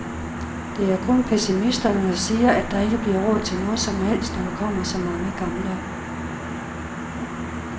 Det er kun pessimisterne, der siger, at der ikke bliver råd til noget som helst, når der kommer så mange gamle.